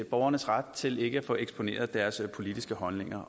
borgernes ret til ikke at få eksponeret deres politiske holdninger